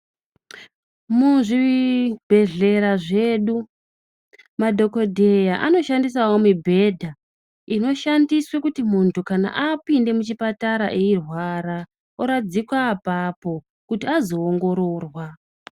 Muzvibhedhlera zvedu, madhogodheya anoshandisawo mibhedha inoshandiswe kuti muntu kana apinda muchipatara eirwara oradzikwa apapo kuti azoongororwa.